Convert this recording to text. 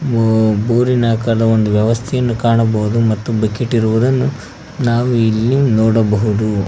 ಓ ಊರಿನಾಕಾರದ ಒಂದು ವ್ಯವಸ್ಥೆಯನ್ನು ಕಾಣಬಹುದು ಮತ್ತು ಬಕೆಟ್ ಇರುವುದನ್ನು ನಾವು ಇಲ್ಲಿ ನೋಡಬಹುದು.